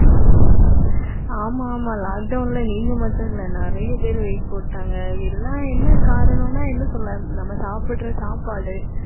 ஆமாமா lockdown ல நீங்க மட்டும் இல்லை. நிறைய பேர் weight போட்டாங்க. எல்லாம் என்ன காரணம்ன்னா என்ன சொல்ல நம்ம சாப்பிடுற சாப்பாடு